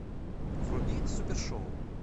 вруби супер шоу